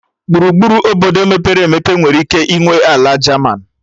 Gburugburu Obodo mepere emepe nwere ike ịnwe ala jaman